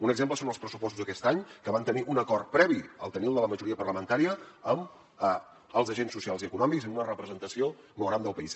un exemple són els pressupostos d’aquest any que van tenir un acord previ a tenir el de la majoria parlamentària amb els agents socials i econòmics i amb una representació molt gran del país